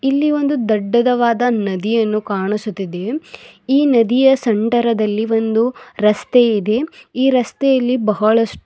ಇಲ್ಲಿ ಒಂದು ದೊಡ್ಡದವಾದ ನದಿಯನ್ನು ಕಾಣಿಸುತ್ತಿದೆ ಈ ನದಿಯ ಸೆಂಠರದಲ್ಲಿ ಒಂದು ರಸ್ತೆ ಇದೆ ಈ ರಸ್ತೆಯಲ್ಲಿ ಬಹಳ--